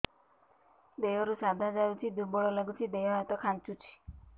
ଦେହରୁ ସାଧା ଯାଉଚି ଦୁର୍ବଳ ଲାଗୁଚି ଦେହ ହାତ ଖାନ୍ଚୁଚି